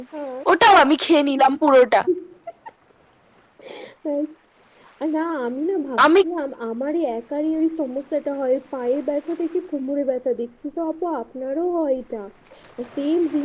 ও ওটাও আমি খেয়ে নিলাম পুরো তা ও না আমি না ভাবছিলাম আমার একাই এই সমস্যা তটা হয় পায়ে ব্যাথা থেকে কোমরে ব্যাথা দিচ্ছে সেটা দেখছি আপনার ও হয় এটা